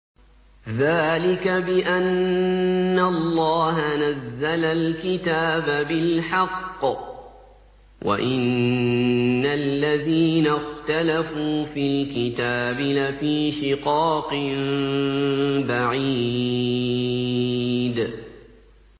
ذَٰلِكَ بِأَنَّ اللَّهَ نَزَّلَ الْكِتَابَ بِالْحَقِّ ۗ وَإِنَّ الَّذِينَ اخْتَلَفُوا فِي الْكِتَابِ لَفِي شِقَاقٍ بَعِيدٍ